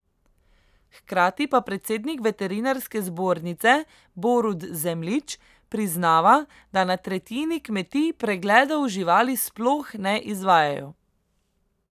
Hkrati pa predsednik veterinarske zbornice Borut Zemljič priznava, da na tretjini kmetij pregledov živali sploh ne izvajajo.